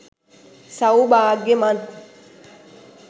සෞභාග්‍යමත්